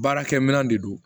Baarakɛ minɛn de don